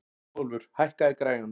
Þjóðólfur, hækkaðu í græjunum.